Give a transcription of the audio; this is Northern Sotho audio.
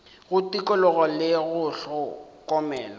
go tikologo le go hlokomela